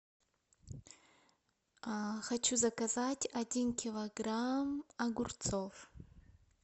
хочу заказать один килограмм огурцов